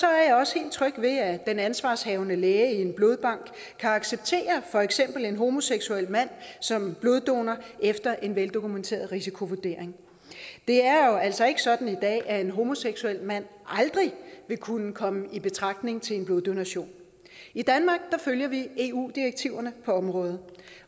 er jeg også helt tryg ved at den ansvarshavende læge i en blodbank kan acceptere for eksempel en homoseksuel mand som bloddonor efter en veldokumenteret risikovurdering det er jo altså ikke sådan i dag at en homoseksuel mand aldrig vil kunne komme i betragtning til en bloddonation i danmark følger vi eu direktiverne på området